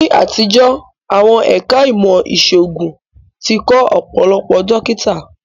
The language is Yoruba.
Ní àtijọ́, àwọn ẹ̀ká ìmọ̀ ìṣòògùn tí kọ́ Ọ̀pọ̀lọpọ̀ dókítà